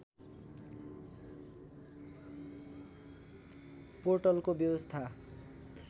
पोर्टलको व्यवस्था